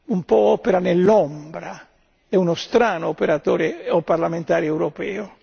un po' opera nell'ombra ed è uno strano operatore o parlamentare europeo.